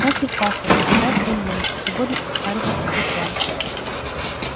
каждый хвастал предлагал свои мнения и свободно оспоривал пугачёва